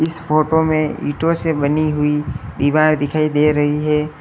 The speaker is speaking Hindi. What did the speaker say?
इस फोटो में ईंटों से बनी हुई दीवार दिखाई दे रही है।